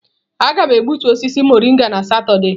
Aga m egbutu osisi mọrịnga na Satọde.